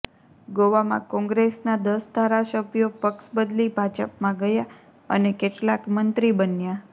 ગોવામાં કોંગ્રેસના દસ ધારાસભ્યો પક્ષ બદલી ભાજપમાં ગયા અને કેટલાક મંત્રી બન્યા